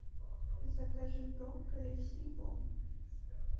закажи брокколи в сельпо